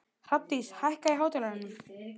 Hrafndís, hækkaðu í hátalaranum.